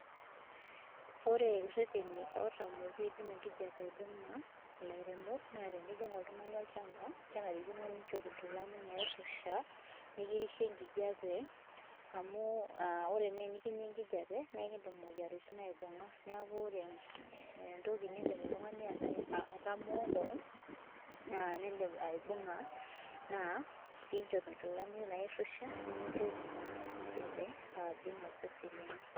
Ore ireteni otamooki oidim enkijape aibunga, ilairemok naa tenijing oltungani olchamba, kenarikino ninchop inkilani nairusha nikirishie enkijape, amuu ore naa enikinyia enkijape naa ekindim imoyiaritin aibunga. Neaku ore entoki nindim oltungani aitamoo koon naa enindim aibunga naa pee inchop inkilani nairusha pee meitoki naa enkijape aibung osesen lino